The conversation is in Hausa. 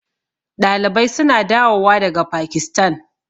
Ɗalibai suna dawo wa daga Pakistan